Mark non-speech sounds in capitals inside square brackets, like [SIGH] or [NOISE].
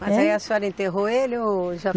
Mas aí a senhora enterrou ele ou [UNINTELLIGIBLE]